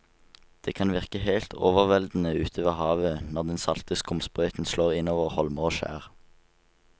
Det kan virke helt overveldende ute ved havet når den salte skumsprøyten slår innover holmer og skjær.